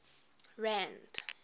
rand